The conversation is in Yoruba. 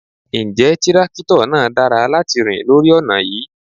Ǹjẹ́ tírákítọ̀ náà dára láti rìn lórí ọ̀nà yí?